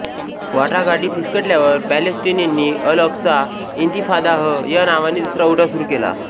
वाटाघाटी फिसकटल्यावर पॅलेस्टिनींनी अलअक्सा इन्तिफादाह य नावाने दुसरा उठाव सुरू केला